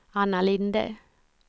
Anna Linde